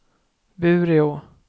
Bureå